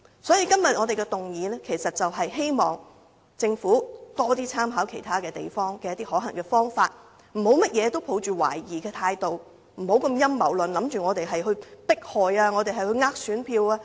所以，今天這項議案就是希望政府多參考其他地方的可行方法，不要凡事抱着懷疑態度，不要陰謀論地認為我們只是想迫害他人、想騙選民。